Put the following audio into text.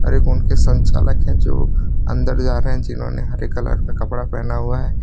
एक उनके संचालक है जो अंदर जा रहे हैं जिन्होंने हरे कलर का कपड़ा पहना हुआ है।